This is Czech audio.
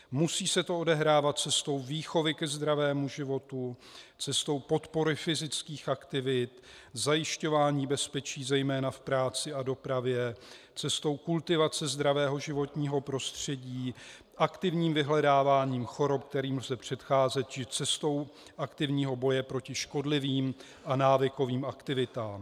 Musí se to odehrávat cestou výchovy ke zdravému životu, cestou podpory fyzických aktivit, zajišťování bezpečí zejména v práci a dopravě, cestou kultivace zdravého životního prostředí, aktivním vyhledáváním chorob, kterým lze předcházet, či cestou aktivního boje proti škodlivým a návykovým aktivitám.